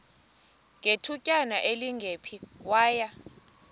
ngethutyana elingephi waya